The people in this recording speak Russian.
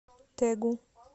тэгу